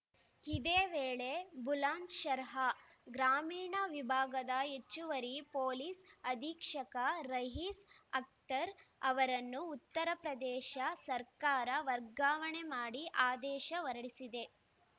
ಇದೇ ವೇಳೆ ಬುಲಂದ್‌ಶಹರ್‌ ಗ್ರಾಮೀಣ ವಿಭಾಗದ ಹೆಚ್ಚುವರಿ ಪೊಲೀಸ್‌ ಅಧೀಕ್ಷಕ ರಯೀಸ್‌ ಅಖ್ತರ್‌ ಅವರನ್ನು ಉತ್ತರಪ್ರದೇಶ ಸರ್ಕಾರ ವರ್ಗಾವಣೆ ಮಾಡಿ ಆದೇಶ ಹೊರಡಿಸಿದೆ